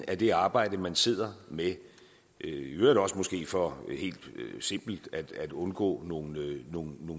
af det arbejde man sidder med i øvrigt også måske for helt simpelt at undgå nogle